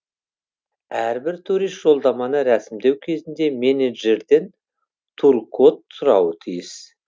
әрбір турист жолдаманы рәсімдеу кезінде менеджерден туркод сұрауы тиіс